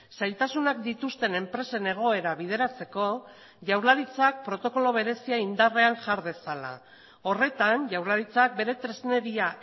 zailtasunak dituzten enpresen egoera bideratzeko jaurlaritzak protokolo berezia indarrean jar dezala horretan jaurlaritzak bere tresneria